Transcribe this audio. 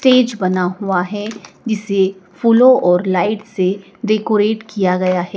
Stage बना हुआ है जिसे फूलों और लाइट से डेकोरेट किया गया है।